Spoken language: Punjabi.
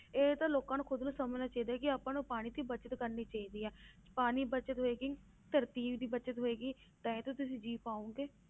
ਇਹ ਤੇ ਲੋਕਾਂ ਨੂੰ ਖੁੱਦ ਨੂੰ ਸਮਝਣਾ ਚਾਹੀਦਾ ਕਿ ਆਪਾਂ ਨੂੰ ਪਾਣੀ ਦੀ ਬਚਤ ਕਰਨੀ ਚਾਹੀਦੀ ਹੈ ਪਾਣੀ ਬਚਤ ਹੋਏਗੀ ਧਰਤੀ ਦੀ ਬਚਤ ਹੋਏਗੀ ਤਾਂ ਹੀ ਤਾਂ ਤੁਸੀਂ ਜੀ ਪਾਓਗੇ।